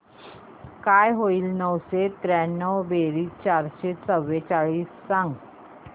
काय होईल नऊशे त्र्याण्णव बेरीज चारशे चव्वेचाळीस सांग